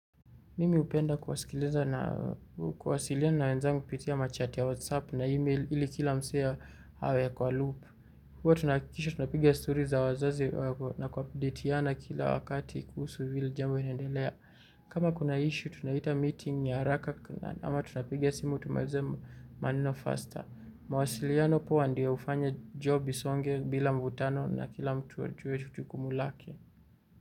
Mimi hupenda kuwasikiliza na kuwasiliana na wenzangu kupitia machati ya whatsapp na email ili kila msee awe ako aloop. Huwa tunahakikisha tunapiga story za wazazi na kupdatiana kila wakati kuhusu hili jambo inaendelea. Kama kuna issue tunaita meeting ya haraka ama tunapiga simu tumalize maneno faster. Mawasiliano poa ndio hufanya job isonge bila mvutano na kila mtu ajue jukumu lake.